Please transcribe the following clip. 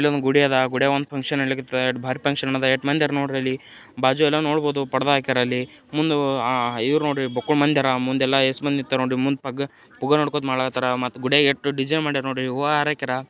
ಇಲ್ಲೊಂದು ಗುಡಿ ಅದ ಆ ಗುಡ್ಯಾಗ ಒಂದು ಫಂಕ್ಷನ್ ನಡಿಲಿಕತ್ತದ ಎಷ್ಟು ಭಾರಿ ಫಂಕ್ಷನ್ ಅದ ಎಷ್ಟು ಭಾರಿ ಮಂದಿ ಅದಾರ್ ನೋಡ್ರಿ ಅಲ್ಲಿ ಬಾಜು ಎಲ್ಲ ನೋಡಬಹುದು ಪಡದಾ ಹಾಕ್ಯಾರಲ್ಲಿ ಮುಂದ ಆ ಇವರು ನೋಡ್ರಿ ಬಕ್ಕಳು ಮಂದಿ ಆರ ಮುಂದೆಲ್ಲ ಯೇಸು ಮಂದಿ ನಿಂತಾರ ನೋಡ್ರಿ ಮುಂದೆ ಪಗ್ಗ ಮುಂದೆ ಪುಗ್ಗ ನೋಡ್ಕೋತ ಮಾಡ್ಲಾತ್ತರ್ ಮಟ್ಟ ಗುಡ್ಯಾಗ ಎಷ್ಟು ಡಿಸೈನ್ ಮಡ್ಯಾರ್ ನೋಡ್ರಿ ಹೂವ ಹಾರಾ ಹಾಕ್ಯಾರ.